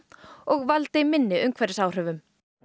og valdi minni umhverfisáhrifum